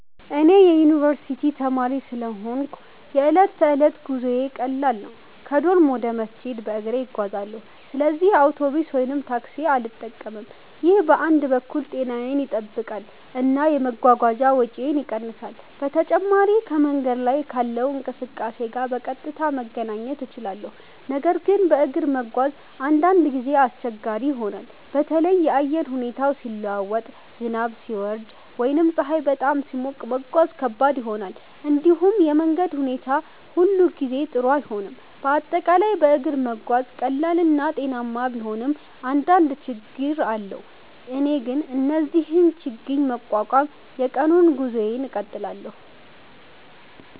እኔ የዩኒቨርስቲ ተማሪ ስለሆንሁ የዕለት ተዕለት ጉዞዬ ቀላል ነው። ከዶርም ወደ መስጂድ በእግሬ እጓዛለሁ፣ ስለዚህ አውቶቡስ ወይም ታክሲ አልጠቀምም። ይህ በአንድ በኩል ጤናዬን ይጠብቃል እና የመጓጓዣ ወጪን ይቀንሳል። በተጨማሪም ከመንገድ ላይ ካለው እንቅስቃሴ ጋር በቀጥታ መገናኘት እችላለሁ። ነገር ግን በእግር መጓዝ አንዳንድ ጊዜ አስቸጋሪ ይሆናል። በተለይ የአየር ሁኔታ ሲለዋወጥ፣ ዝናብ ሲወርድ ወይም ፀሐይ በጣም ሲሞቅ መጓዝ ከባድ ይሆናል። እንዲሁም የመንገድ ሁኔታ ሁሉ ጊዜ ጥሩ አይሆንም፤ በአጠቃላይ በእግር መጓዝ ቀላል እና ጤናማ ቢሆንም አንዳንድ ችግኝ አለው። እኔ ግን እነዚህን ችግኝ በመቋቋም የቀኑን ጉዞዬን እቀጥላለሁ።